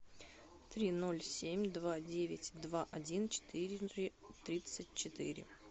три ноль семь два девять два один четыре тридцать четыре